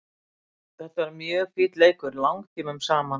Þetta var mjög finn leikur langtímum saman.